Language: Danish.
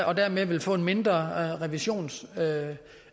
og dermed få en mindre revisionsudgift